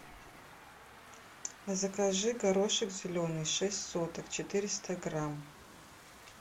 закажи горошек зеленый шесть соток четыреста грамм